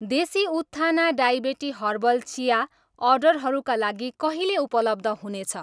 देसी Utthana diabetes herbal chia अर्डरहरूका लागि कहिले उपलब्ध हुनेछ?